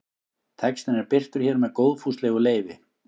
Textinn er birtur hér með góðfúslegu leyfi.